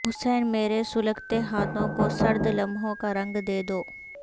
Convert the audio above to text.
حسین میرے سلگتے ہاتھوں کو سرد لمحوں کا رنگ دے دو